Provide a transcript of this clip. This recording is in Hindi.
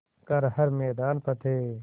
कर हर मैदान फ़तेह